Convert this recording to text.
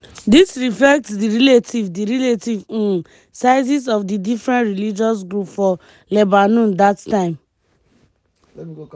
dis reflect di relative di relative um sizes of di different religious groups for lebanon dat time.